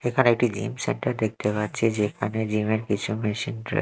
এখানে একটি gym centre দেখতে পাচ্ছি যেখানে জিম -এর কিছু মেশিন রা--